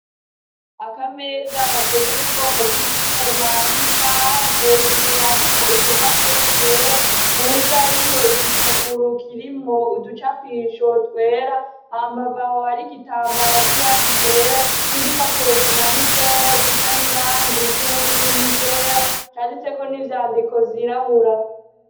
Akameza gakoze mu bwoko bw'icuma n'ibibaho hejuru hariko udupapuro twera musi hariyo igipuguru kirimwo uducapisho twera hambavu aho hari igitambara c'irangi ryera n'igipapuro kimanitseko gisa n'irangi ry'ubururu n'iryera canditseko n'ivyandiko vyirabura.